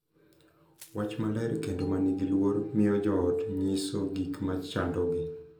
Wach maler kendo ma nigi luor miyo jo ot nyiso gik ma chandogi